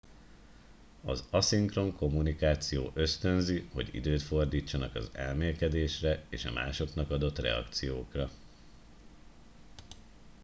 az aszinkron kommunikáció ösztönzi hogy időt fordítsanak az elmélkedésre és a másoknak adott reakciókra